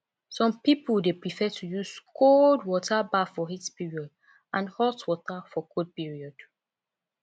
some pipo de prefere to use cold water baff for heat period and hot water for cold period